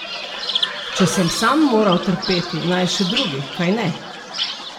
Če sem sam moral trpeti, naj še drugi, kajne?